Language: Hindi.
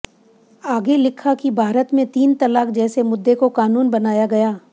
आगे लिखा कि भारत में तीन तलाक जैसे मुद्दे को कानून बनाया गया